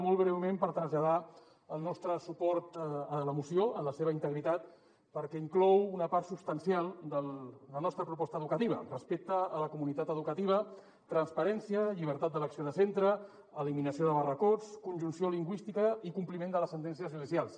molt breument per traslladar el nostre suport a la moció en la seva integritat perquè inclou una part substancial de la nostra proposta educativa respecte a la comunitat educativa transparència llibertat d’elecció de centre elimi·nació de barracots conjunció lingüística i compliment de les sentències judicials